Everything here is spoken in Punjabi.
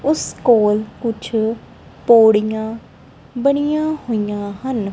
ਉਸ ਕੋਲ ਕੁਛ ਪੌੜੀਆਂ ਬਣੀਆਂ ਹੋਈਆਂ ਹਨ।